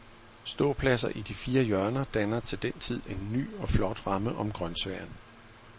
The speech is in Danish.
Ståpladser i de fire hjørner danner til den tid en ny og flot ramme om grønsværen.